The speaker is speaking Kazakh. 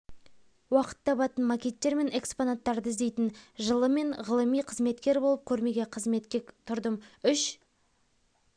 уақыт табатын макеттер мен экспонаттарды іздейтін жылы мен ғылыми қызметкер болып көрмеге қызметке тұрдым үш